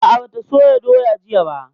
A'a, ba ta soya doya jiya ba